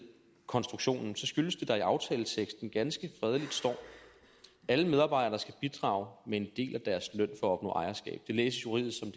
konstruktionen skyldes det at der i aftaleteksten ganske fredeligt står alle medarbejdere skal bidrage med en del af deres løn for at opnå ejerskab det læses juridisk